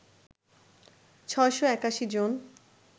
৬৮১ জন